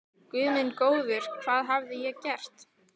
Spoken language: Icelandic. Guð minn góður, hvað hafði ég gert?